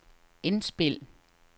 indspil